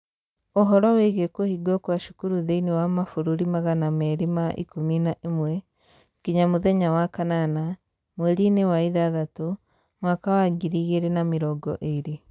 Ũhoro wĩgiĩ kũhingwo kwa cukuru thĩinĩ wa mabũrũri magana mĩrĩ ma ikũmi na ĩmwe, nginya mũthenya wa kanana, mweri-inĩ wa ithathatũ, mwaka wa ngiri igĩrĩ na mĩrongo ĩrĩ.